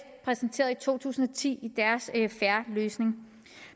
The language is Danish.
præsenterede i to tusind og ti i deres en fair løsning